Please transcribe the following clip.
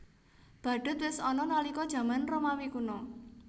Badhut wis ana nalika jaman Romawi Kuna